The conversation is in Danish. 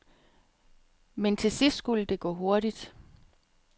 Men til sidst skulle det gå hurtigt.